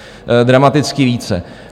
Dramaticky více.